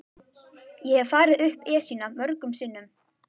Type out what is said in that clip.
Ég hef farið upp Esjuna mörgum sinnum.